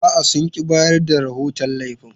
A'a, sun ƙi bayar da rahoton laifin.